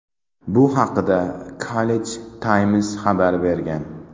Bu haqda Khaleej Times xabar bergan .